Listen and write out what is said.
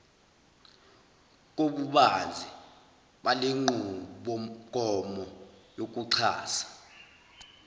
kobubanzi balenqubomgomo yokuxhasa